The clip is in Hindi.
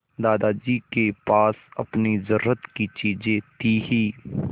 दादाजी के पास अपनी ज़रूरत की चीजें थी हीं